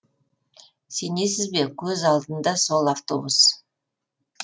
сенесіз бе көз алдында сол автобус